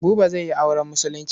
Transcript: Buba zai yi auren Musulunci.